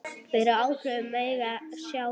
fyrir áhrifum af mengun sjávar.